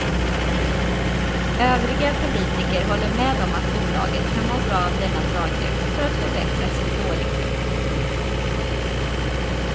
Övriga politiker håller med om att bolaget kan må bra av denna draghjälp för att förbättra sin dåliga ekonomi.